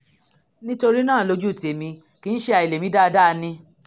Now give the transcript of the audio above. nítorí náà lójú tèmi kì í ṣe àìlèmí dáadáa ni